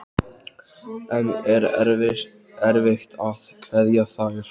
En er erfitt að kveðja þær?